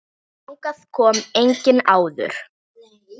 Þangað kom enginn áður.